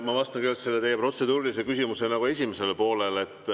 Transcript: Ma vastan kõigepealt teie protseduurilise küsimuse esimesele poolele.